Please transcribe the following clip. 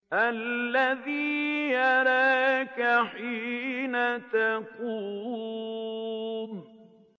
الَّذِي يَرَاكَ حِينَ تَقُومُ